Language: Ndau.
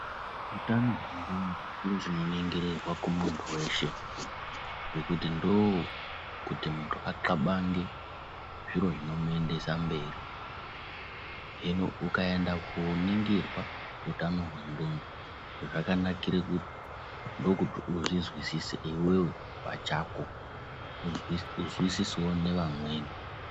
Utano chiro chinoningirirwa kumuntu weshe ngekuti ndokuti muntu axabange zviro zvinomuendesa kumberi. Hino ukaenda kooningirwa utano hwendxondo zvakanikire kuti ndookuti uzvizwisise iwewe pachako nekuzwisisawo nevamweni.